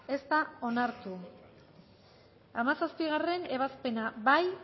ez da onartu hamazazpigarrena ebazpena bozkatu